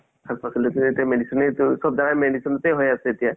এতিয়া medicine য়ে তো চ'ব জাগা medicine য়ে হয় আছে এতিয়া